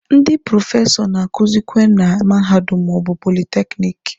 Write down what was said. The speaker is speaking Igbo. Ndị prọfesọ na-akuzikwe na mahadum ma ọ bụ politekiniki.